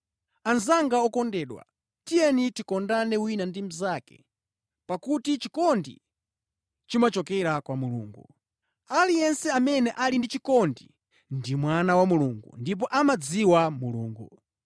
Anzanga okondedwa, tiyeni tikondane wina ndi mnzake, pakuti chikondi chimachokera kwa Mulungu. Aliyense amene ali ndi chikondi ndi mwana wa Mulungu ndipo amadziwa Mulungu.